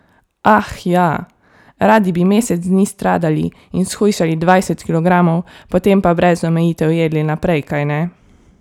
Ah, ja, radi bi mesec dni stradali in shujšali dvajset kilogramov, potem pa brez omejitev jedli naprej, kajne?